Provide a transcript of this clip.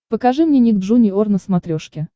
покажи мне ник джуниор на смотрешке